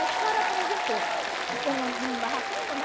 A história eu aprendi pouco, porque não não dava tempo, né?